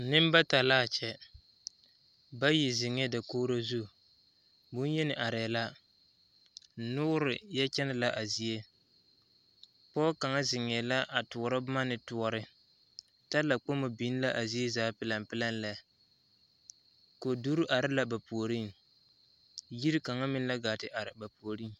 Neŋ bata la a kyɛ bayi zeŋɛɛ dakori zu boŋyeni arɛɛ la noori yɔ kyɛnɛ la a zie pɔge kaŋa zeŋɛɛ la toɔrɔ boma ne toɔre talakpoŋ biŋ la zie zaa. pelempelem lɛ koduri are la ba puoriŋ yiri kaŋa meŋ la gaa te are ba puoriŋ.